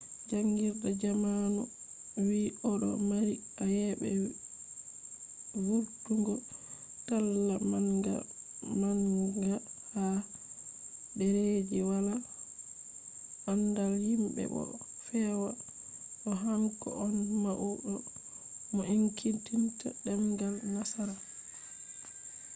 jangirde zamanu vi odo mari ayebe vurtungo talla manga manga ha derreji wala andal himbe bo o fewa do hanko on maudo mo enkitinta demgal nasara